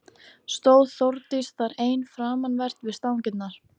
Stóð Þórdís þar ein framanvert við stangirnar.